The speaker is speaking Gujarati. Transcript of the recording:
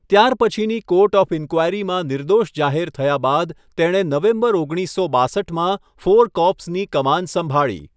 ત્યારપછીની કોર્ટ ઓફ ઈન્ક્વાયરીમાં નિર્દોષ જાહેર થયા બાદ, તેણે નવેમ્બર ઓગણીસસો બાસઠમાં ફોર કોર્પ્સની કમાન સંભાળી.